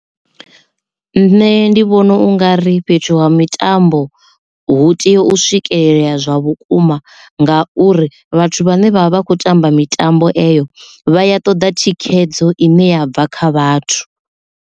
Nṋe ndi vhona u ngari fhethu ha mitambo hu tea u swikelelea zwa vhukuma ngauri vhathu vhane vha vha vha kho tamba mitambo eyo vha ya ṱoḓa thikhedzo ine ya bva kha vhathu.